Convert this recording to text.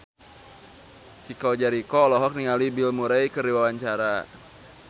Chico Jericho olohok ningali Bill Murray keur diwawancara